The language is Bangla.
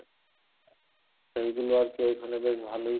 তো এইগুলা আরকি ঐখানে বেশ ভালোই